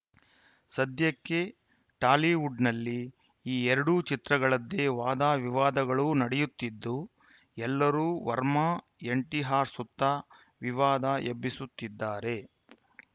ಸದ್ಯಕ್ಕೆ ಟಾಲಿವುಡ್‌ನಲ್ಲಿ ಈ ಎರಡೂ ಚಿತ್ರಗಳದ್ದೇ ವಾದ ವಿವಾದಗಳು ನಡೆಯುತ್ತಿದ್ದು ಎಲ್ಲರು ವರ್ಮಾ ಎನ್‌ಟಿಆರ್‌ ಸುತ್ತ ವಿವಾದ ಎಬ್ಬಿಸುತ್ತಿದ್ದಾರೆ